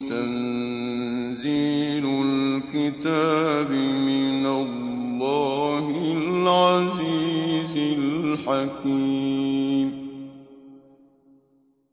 تَنزِيلُ الْكِتَابِ مِنَ اللَّهِ الْعَزِيزِ الْحَكِيمِ